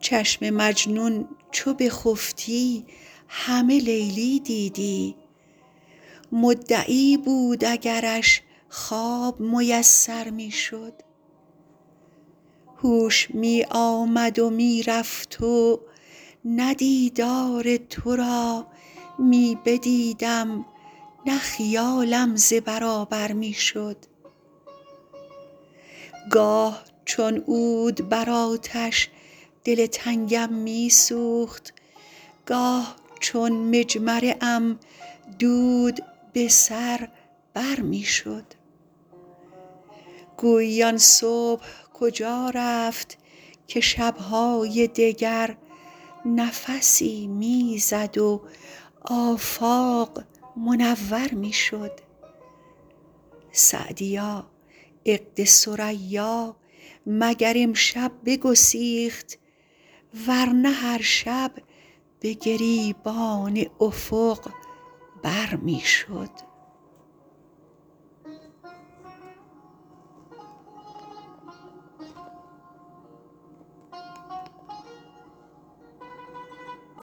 چشم مجنون چو بخفتی همه لیلی دیدی مدعی بود اگرش خواب میسر می شد هوش می آمد و می رفت و نه دیدار تو را می بدیدم نه خیالم ز برابر می شد گاه چون عود بر آتش دل تنگم می سوخت گاه چون مجمره ام دود به سر بر می شد گویی آن صبح کجا رفت که شب های دگر نفسی می زد و آفاق منور می شد سعدیا عقد ثریا مگر امشب بگسیخت ور نه هر شب به گریبان افق بر می شد